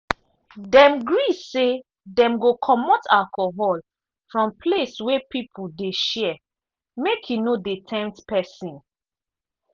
dem gree say dem go comot alcohol from place wey people dey share make e no dey tempt pesin.